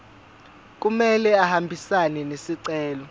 kumele ahambisane nesicelo